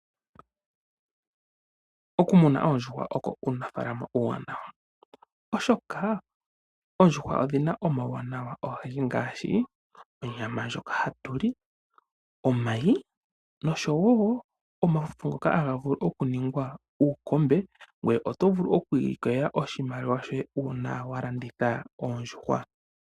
Oku muna oondjuhwa oko uunafaalama uuwanawa. Oondjuhwa odhina uuwanawa owundji ngashi onyama ndjoka hayi liwa ,omayi noshowo omalwenya ngoka haga vulu oku ningwa uukombe. Oto vulu woo okwi ilikolela oshimaliwa shoye una wa landitha Ondjuhwa.